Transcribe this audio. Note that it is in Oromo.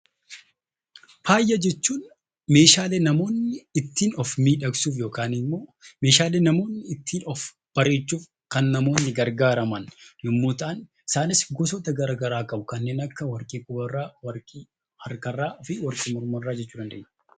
Faaya jechuun meeshaalee namoonni ittiin of miidhagsuuf yookaan meeshaalee namoonni ittiin of bareechuuf kan gargaaraman yommuu ta'an isaanis gosoota garaagaraa qabu. Isaanis kanneen akka warqee gurraa, warqee harkaa fi warqee mormarraa jechuu dandeenya.